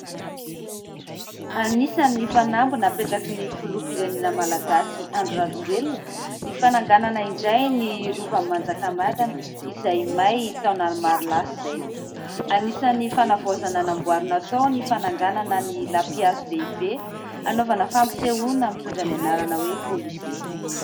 Anisan'ny fanamby napetraky ny filoham-pirenena malagasy, Andry Rajoelina, ny fananganana indray ny Rovan'i Manjakamiadana izay may taonany maro lasa izay. Anisan'ny fanavaozana namboarina tao ny fananganana ny lampihazo lehibe, anaovana fampisehoana mitondra ny anarana hoe: "kôlize".